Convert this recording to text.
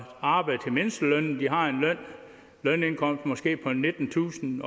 arbejder til mindstelønnen måske på nittentusind